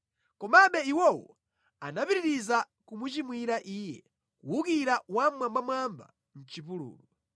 Komabe iwowo anapitiriza kumuchimwira Iye, kuwukira Wammwambamwamba mʼchipululu.